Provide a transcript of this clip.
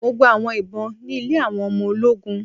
Mo gba awọn ìbọn ni ilẹ̀ awọn ọmọ oló̩gùn